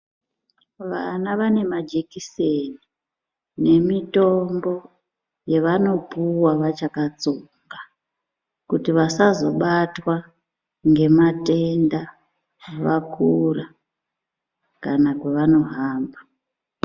Vana vane majikiseni nemitombo yavanopuwa vachakatsonga kuti vasazobatwa ngematenda vakura kana kwavanohamba.